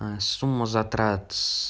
а сумма затрат с